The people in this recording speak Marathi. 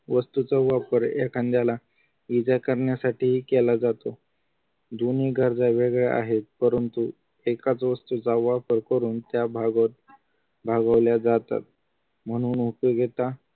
वस्तूचा वापर एखाद्याला इजा करण्यासाठी केला जातो दोन्ही गरजा वेगळे आहेत परंतु एका वस्तूचा वापर करून त्या भाग भागवल्या जातात म्हणून उपयोगिता